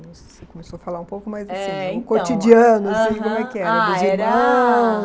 Você começou a falar um pouco, mas assim, é então, no cotidiano, aham, assim, como é que era? Ah, era